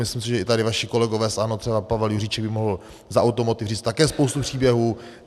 Myslím si, že i tady vaši kolegové z ANO, třeba Pavel Juříček by mohl za Automotiv říct také spoustu příběhů.